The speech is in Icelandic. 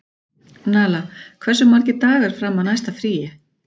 Nala, hversu margir dagar fram að næsta fríi?